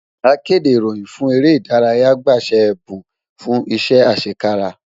Akéde ìròyìn fún eré ìdárayá gba ṣe ẹ̀bùn fún iṣẹ́ àṣẹkára